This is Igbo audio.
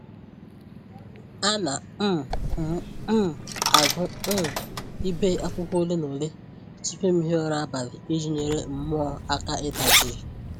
Ana um m um agụ um ibe akwụkwọ ole na ole tupu m hie ụra abalị iji nyere mmụọ aka ịda jii